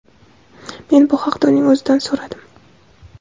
Men bu haqda uning o‘zidan so‘radim.